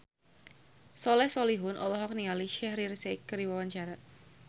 Soleh Solihun olohok ningali Shaheer Sheikh keur diwawancara